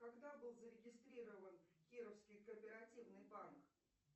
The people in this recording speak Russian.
когда был зарегистрирован кировский кооперативный банк